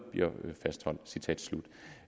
fortsat